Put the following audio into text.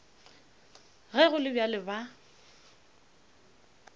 ge go le bjalo ba